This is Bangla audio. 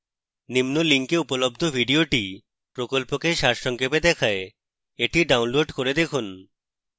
নিম্ন link উপলব্ধ video প্রকল্পকে সারসংক্ষেপে দেখায়